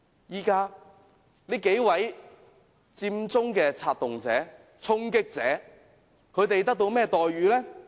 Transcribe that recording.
現在這幾位佔中的策動者、衝擊者得到甚麼待遇？